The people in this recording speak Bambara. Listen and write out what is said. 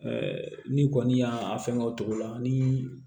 n'i kɔni y'a fɛngɛ o cogo la ni